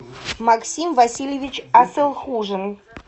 максим васильевич асылхужин